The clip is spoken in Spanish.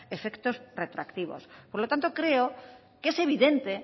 efectos retroactivos por lo tanto creo que es evidente